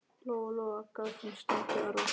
Lóa-Lóa gaf þeim stundum arfa.